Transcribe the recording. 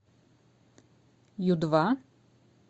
ю два